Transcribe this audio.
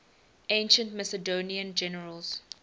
ancient macedonian generals